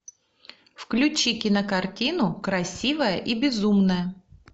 включи кинокартину красивая и безумная